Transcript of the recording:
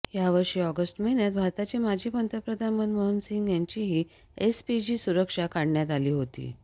याचवर्षी August महिन्यात भारताचे माजी पंतप्रधान मनमोहन सिंह यांचीही एसपीजी सुरक्षा काढण्यात आली होती